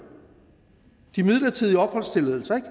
de midlertidige opholdstilladelser ikke